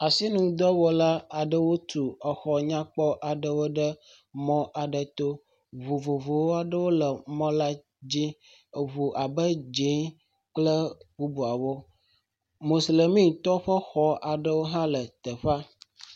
Asinudɔwɔla aɖewo tu exɔ nyakpɔ aɖewo ɖe mɔ aɖe to, ŋu vovovowo aɖewo le emɔ la dzi. Eŋu abe dze kple bubuawo. Mosilemi tɔwo ƒe xɔwo aɖewo hã le teƒea.